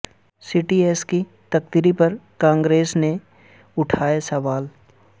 سی D S کی تقرری پر کانگریس نے اٹھائے سوال